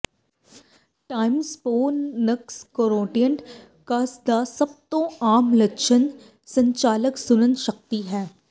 ਟਾਈਮਪੋਨੱਸਕਰੋਰੋਟਿਕਸ ਦਾ ਸਭ ਤੋਂ ਆਮ ਲੱਛਣ ਸੰਚਾਲਕ ਸੁਣਨ ਸ਼ਕਤੀ ਹੈ